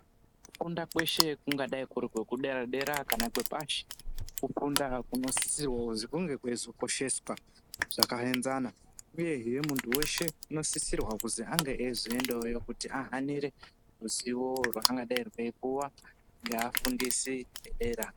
Kufunda kweshe kungadai kuri kwekudera dera kana kwepashi, kufunda kunosisirwa kuzi kunge kweizokosheswa zvakaenzana uyehe muntu weshe unosisirwa kuzi ange eizoendawoyo kuti ahanire ruziwo rwungangodai rweiwa ngeafundisi edera.